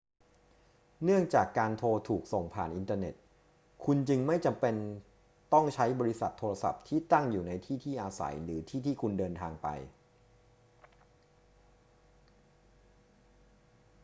เนื่องจากการโทรถูกส่งผ่านอินเทอร์เน็ต คุณจึงไม่จำเป็นต้องใช้บริษัทโทรศัพท์ที่ตั้งอยู่ในที่ที่อาศัยหรือที่ที่คุณเดินทางไป